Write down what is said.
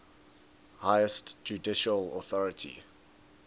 highest judicial authority